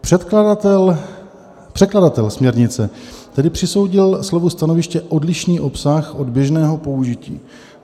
Překladatel směrnice tedy přisoudil slovu stanoviště odlišný obsah od běžného použití.